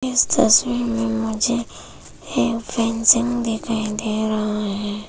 इस तस्वीर में मुझे एक फेंसिंग दिखाई दे रहा है।